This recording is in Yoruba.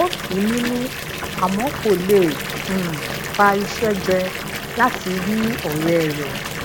ó tu u ninu àmó kò lè um pa iṣé jẹ lati ri òré rè